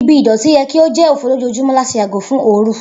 Ibi idọti yẹ ki o jẹ ofo lojoojumọ lati yago fun oorun.